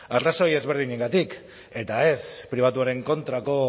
arrazoi desberdinengatik eta ez pribatuaren kontrako